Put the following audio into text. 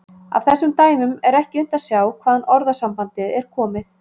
Af þessum dæmum er ekki unnt að sjá hvaðan orðasambandið er komið.